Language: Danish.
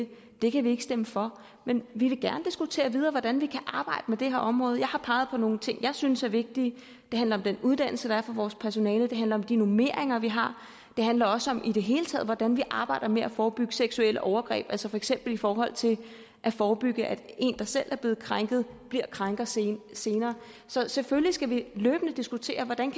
det det kan vi ikke stemme for men vi vil gerne diskutere videre hvordan vi kan arbejde med det her område jeg har peget på nogle ting jeg synes er vigtige det handler om den uddannelse der er for vores personale det handler om de normeringer vi har det handler også om i det hele taget hvordan vi arbejder med at forebygge seksuelle overgreb altså for eksempel i forhold til at forebygge at en der selv er blevet krænket bliver krænker senere senere så selvfølgelig skal vi løbende diskutere hvordan